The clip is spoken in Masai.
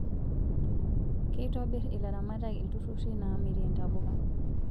Keitobir ilaramatak iltururi namirie ntapuka